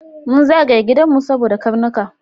Mun zagaye gidanmu saboda karnuka.